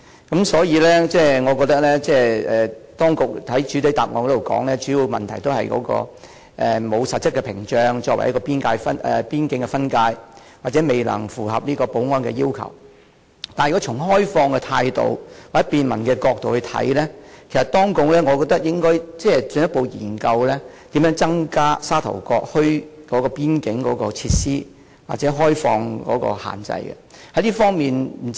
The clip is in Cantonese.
當局在主體答覆中表示，主要的問題是沒有實質屏障作為邊境分界或未能符合保安的要求，但如果以開放的態度或從便民的角度來看，我認為當局應該進一步研究如何增加沙頭角墟的邊境設施或開放有關限制。